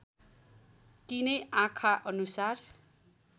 तिनै आँखा अनुसार